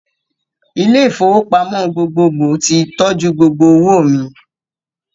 Ilé-ìfowópamọ́ gbogbogbò ti tọ́jú gbogbo owó mi.